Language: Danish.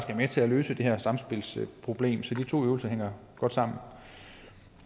med til at løse det her samspilsproblem så de to øvelser hænger godt sammen